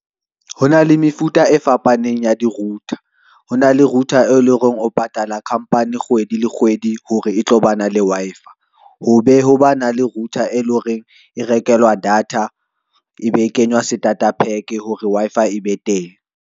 Ho na le mefuta e fapaneng ya di-router ho na le router, e leng hore o patala company kgwedi le kgwedi, hore e tlo ba na le Wi-Fi. Ho be ho ba na le router, e leng hore e rekelwa data e be e kenya starter pack hore Wi-Fi e be teng.